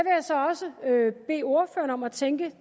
jeg så også bede ordføreren om at tænke